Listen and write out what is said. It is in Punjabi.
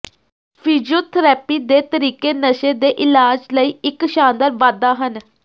ਫਿਜ਼ੀਓਥਰੈਪੀ ਦੇ ਤਰੀਕੇ ਨਸ਼ੇ ਦੇ ਇਲਾਜ ਲਈ ਇੱਕ ਸ਼ਾਨਦਾਰ ਵਾਧਾ ਹਨ